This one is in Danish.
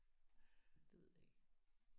Det ved jeg ikke